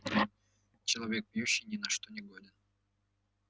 человек пьющий ни на что не годен